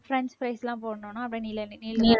french fries எல்லாம் போடணும்னா அப்புறம் நீள நீளமா